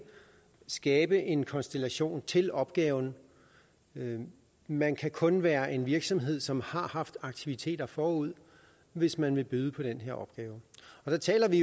skabe en konstellation til opgaven man kan kun være en virksomhed som har haft aktiviteter forud hvis man vil byde på den her opgave og der taler vi